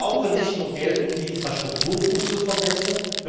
Wir brauchen nicht nur Geld, um die Infrastruktur zu verbessern.